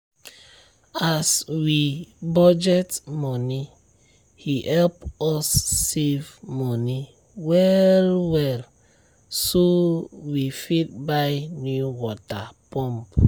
as we budget money e help us save money well well so we fit buy new water pump.